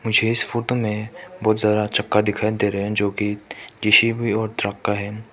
मुझे इस फोटो में बहुत ज्यादा चक्का दिखाई दे रहे है जो कि जे_सी_बी और ट्रक का है।